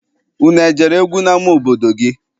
Unu ejere egwu n'ama obodo gị?